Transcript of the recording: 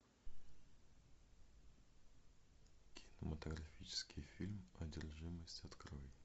кинематографический фильм одержимость открой